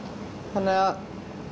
þannig að